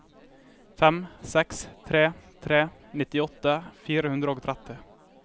fem seks tre tre nittiåtte fire hundre og tretti